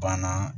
Banna